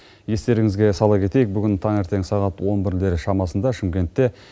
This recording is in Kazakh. естеріңізге сала кетейік бүгін таңертең сағат он бірлер шамасында шымкентте